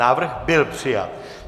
Návrh byl přijat.